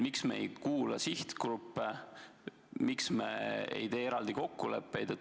Miks me ei kuula sihtgruppe, miks me ei tee eraldi kokkuleppeid?